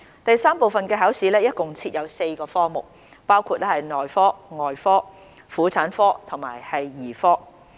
第三部分的考試共設有4個科目，包括內科、外科、婦產科及兒科。